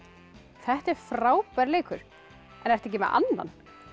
þetta er frábær leikur en ertu ekki með annan